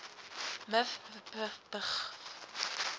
miv wbp bgv